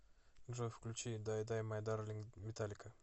джой включи дай дай май дарлинг металлика